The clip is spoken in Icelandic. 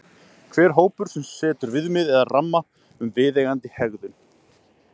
hver hópur setur viðmið eða ramma um viðeigandi hegðun